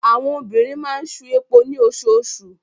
Àwọn obìnrin máa ń ṣu epo ní osoosù.